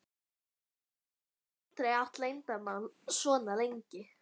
Hún hefur aldrei átt leyndarmál svo lengi.